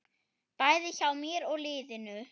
Bæði hjá mér og liðinu.